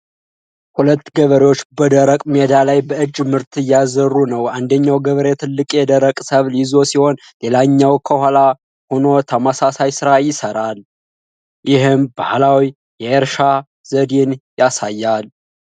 ሁለት ገበሬዎች በደረቅ ሜዳ ላይ በእጅ ምርት እያዘሩ ነው። አንደኛው ገበሬ ትልቅ የደረቀ ሰብል ይዞ ሲሆን ሌላኛው ከኋላ ሆኖ ተመሳሳይ ሥራ ይሰራል። ይህም ባህላዊ የእርሻ ዘዴን ያሳያል።